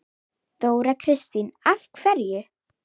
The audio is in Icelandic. Þóra Kristín: En af hverju?